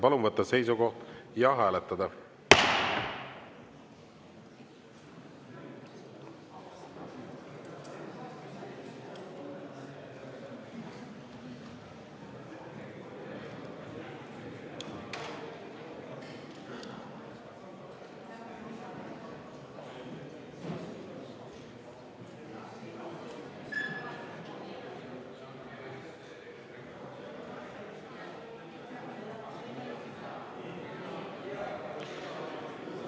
Palun võtta seisukoht ja hääletada!